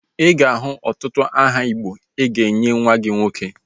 Ị ga-ahụ ọtụtụ aha igbo ị ga-enye nwa gị nwoke